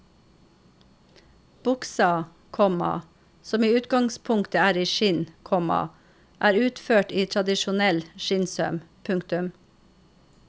Buksa, komma som i utgangspunktet er i skinn, komma er utført i tradisjonell skinnsøm. punktum